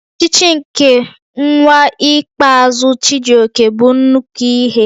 Ochichi nke nwa ikpeazụ Chijioke bụ nnukwu ihe